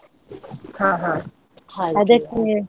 ಹಾ ಹಾ .